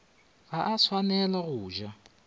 ga a swanela go ja